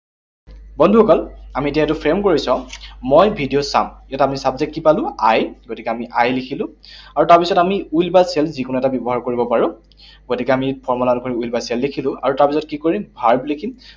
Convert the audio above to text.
বন্ধুসকল, আমি এতিয়া এইটো frame কৰি চাওঁ। মই ভিডিঅ চাম, ইয়াত আমি subject কি পালো? I, গতিকে আমি I লিখিলো। আৰু তাৰপিছত আমি will বা shall যিকোনো এটা ব্যৱহাৰ কৰিব পাৰো। গতিকে আমি formula অনুসৰি will বা shall লিখিলো। আৰু তাৰপিছত কি কৰিম? Verb লিখিম।